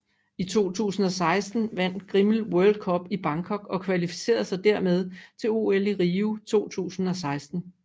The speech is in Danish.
I 2016 vandt Grimmel World Cup i Bangkok og kvalificerede sig derved til OL i Rio 2016